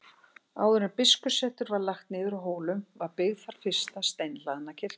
Áður en biskupssetur var lagt niður á Hólum var byggð þar fyrsta steinhlaðna kirkjan.